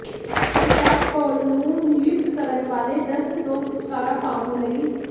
Biseptol ਨੂੰ ਨਿਯੁਕਤ ਕਰਨ ਵਾਲੇ ਦਸਤ ਤੋਂ ਛੁਟਕਾਰਾ ਪਾਉਣ ਲਈ